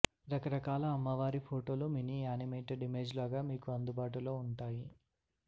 రకరకాల అమ్మవారి ఫొటోలు మినీ యానిమేటడ్ ఇమేజ్లుగా మీకు అందుబాటులో ఉంటాయి